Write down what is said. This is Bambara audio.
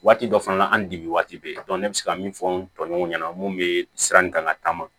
Waati dɔ fana na an ni dimi waati bɛ yen ne bɛ se ka min fɔ n tɔɲɔgɔnw ɲɛna mun bɛ sira in kan ka taama